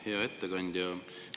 Hea ettekandja!